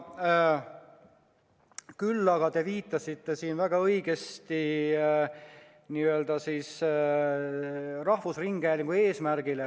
Küll aga te viitasite siin väga õigesti rahvusringhäälingu eesmärgile.